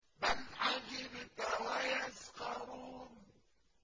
بَلْ عَجِبْتَ وَيَسْخَرُونَ